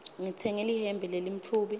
ngitsenge lihembe lelimtfubi